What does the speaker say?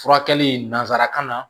Furakɛli nanzarakan na